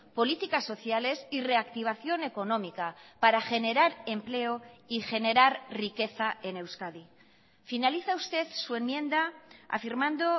políticas sociales y reactivación económica para generar empleo y generar riqueza en euskadi finaliza usted su enmienda afirmando